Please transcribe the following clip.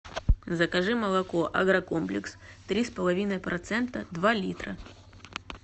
закажи молоко агрокомплекс три с половиной процента два литра